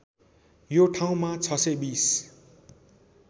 यो ठाउँमा ६२०